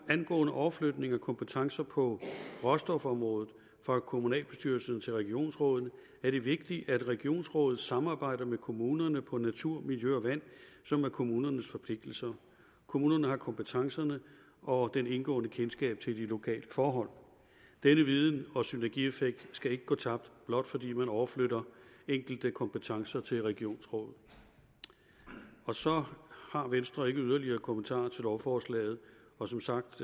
angående overflytning af kompetencer på råstofområdet fra kommunalbestyrelsen til regionsrådet er det vigtigt at regionsrådet samarbejder med kommunerne på områderne natur miljø og vand som er kommunernes forpligtelser kommunerne har kompetencerne og det indgående kendskab til de lokale forhold denne viden og synergieffekt skal ikke gå tabt blot fordi man overflytter enkelte kompetencer til regionsrådet så har venstre ikke yderligere kommentarer til lovforslaget og som sagt